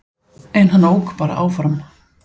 En hann ók bara áfram